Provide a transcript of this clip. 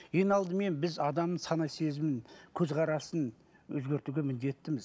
ең алдымен біз адамның сана сезімін көзқарасын өзегертуге міндеттіміз